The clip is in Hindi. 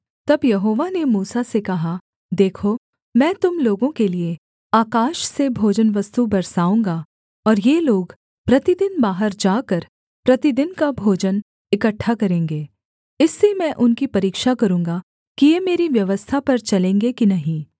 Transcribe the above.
तब यहोवा ने मूसा से कहा देखो मैं तुम लोगों के लिये आकाश से भोजनवस्तु बरसाऊँगा और ये लोग प्रतिदिन बाहर जाकर प्रतिदिन का भोजन इकट्ठा करेंगे इससे मैं उनकी परीक्षा करूँगा कि ये मेरी व्यवस्था पर चलेंगे कि नहीं